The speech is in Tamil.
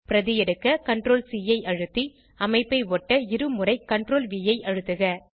பிரதி எடுக்க CTRLC ஐ அழுத்தி அமைப்பை ஒட்ட இருமுறை CTRLV ஐ அழுத்துக